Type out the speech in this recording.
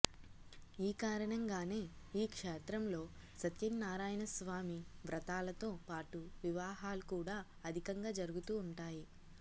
ఈ కారణంగానే ఈ క్షేత్రంలో సత్యనారాయణస్వామి వ్రతాలతో పాటు వివాహాలు కూడా అధికంగా జరుగుతూ వుంటాయి